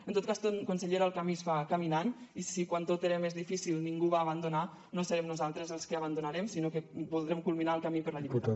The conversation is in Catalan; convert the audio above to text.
en tot cas consellera el camí es fa caminant i si quan tot era més difícil ningú va abandonar no serem nosaltres els que abandonarem sinó que voldrem culminar el camí per la llibertat